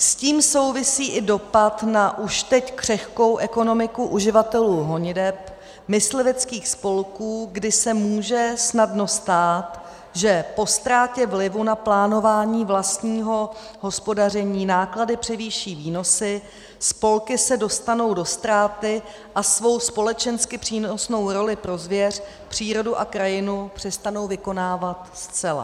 S tím souvisí i dopad na už teď křehkou ekonomiku uživatelů honiteb, mysliveckých spolků, kdy se může snadno stát, že po ztrátě vlivu na plánování vlastního hospodaření náklady převýší výnosy, spolky se dostanou do ztráty a svou společensky přínosnou roli pro zvěř, přírodu a krajinu přestanou vykonávat zcela.